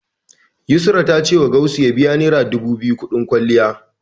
Yusra ta cewa Gausu ya biya naira dubu biyu kuɗin kwalliya.